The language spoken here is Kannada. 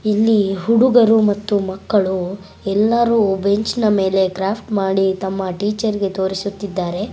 ಇಲ್ಲಿ ಹುಡುಗರು ಮತ್ತು ಮಕ್ಕಳು ಎಲ್ಲರೂ ಬೆಂಚಿನ ಮೇಲೆ ಕ್ರಾಫ್ಟ್ ಮಾಡಿ ತಮ್ಮ ಟೀಚೆರ್ಗೆ ತೋರಿಸುತ್ತಿದ್ದಾರೆ .